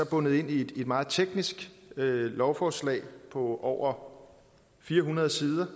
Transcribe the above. bundet ind i et meget teknisk lovforslag på over fire hundrede sider